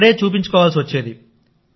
అక్కడ చూపించుకోవాల్సివచ్చేది